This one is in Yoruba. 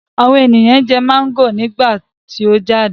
Àwọn èèyàn jẹ máńgò nígbà tí ó jáde